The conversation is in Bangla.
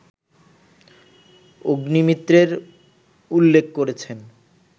অগ্নিমিত্রের উল্লেখ করেছেন